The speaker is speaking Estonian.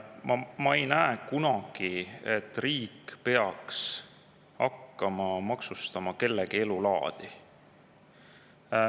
Ma ei näe, et riik peaks kunagi hakkama maksustama kellegi elulaadi.